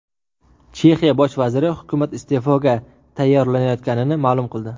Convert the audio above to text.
Chexiya bosh vaziri hukumat iste’foga tayyorlanayotganini ma’lum qildi.